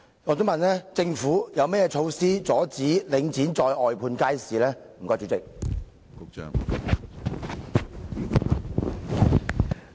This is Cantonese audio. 我想問政府有何措施阻止街市再被領展外判？